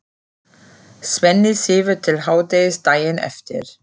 Svenni sefur til hádegis daginn eftir.